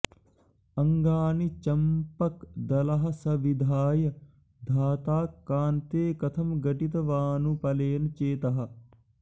अङ्गानि चम्पकदलः स विधाय धाता कान्ते कथं घटितवानुपलेन चेतः